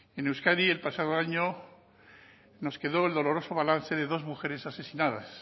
en euskadi el pasado año nos quedó el doloroso balance de dos mujeres asesinadas